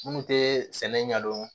Minnu tɛ sɛnɛ ɲɛdɔn